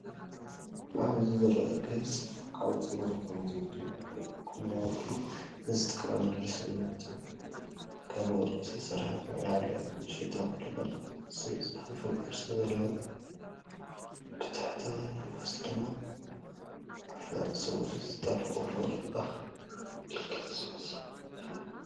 ኣብዚ ዝርአ ጌጽ ኣብ ጸጉሪ ከም ዘውዲ ወይ ጎናዊ ፒን ዝጥቀመሉ ስልማት እዩ። ካብ ወርቂ ዝተሰርሐ ኮይኑ፡ ኣብ ላዕሊ ንእሽቶ ቁልቁል ዝኣፉ ቅርጺ ዘለዎ፡ብታሕተዋይ ክፋል ድማ ኣብ ላዕሊ ጸጉሪ ዝጣበቕ ቁልቁል ዝኣፉ ዕንክሊል ዝመስል ክፋል ኣለዎ።